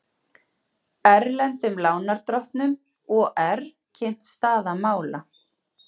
Erlendum lánardrottnum OR kynnt staða mála